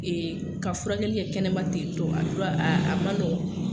ka furakɛli kɛ kɛnɛma ten tɔ a ma nɔgɔ.